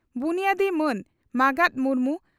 ᱵᱩᱱᱭᱟᱹᱫᱤ ᱢᱟᱱ ᱢᱟᱸᱜᱟᱛ ᱢᱩᱨᱢᱩ